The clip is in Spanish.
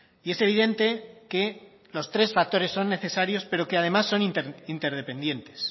y es evidente que los tres factores son necesarios pero que además son interdependientes